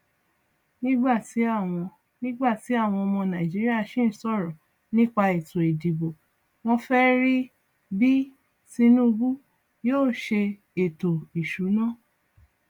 nígbà tí àwọn nígbà tí àwọn ọmọ nàìjíríà sín sọrọ nípa ètò ìdìbò wọn fẹ rí bí tinubu yóò ṣe ètò ìsúná